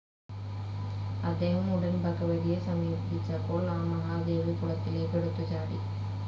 അദ്ദേഹം ഉടൻ ഭഗവതിയെ സമീപിച്ചപ്പോൾ ആ മഹാദേവി കുളത്തിലേക്ക് എടുത്ത് ചാടി.